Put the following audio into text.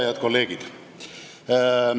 Head kolleegid!